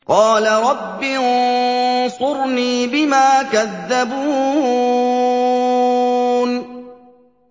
قَالَ رَبِّ انصُرْنِي بِمَا كَذَّبُونِ